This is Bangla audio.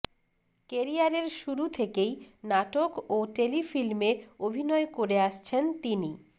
ক্যারিয়ারের শুরু থেকেই নাটক ও টেলিফিল্মে অভিনয় করে আসছেন তিনি